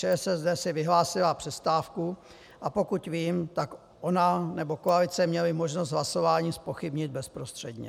ČSSD si vyhlásila přestávku, a pokud vím, tak ona nebo koalice měly možnost hlasování zpochybnit bezprostředně.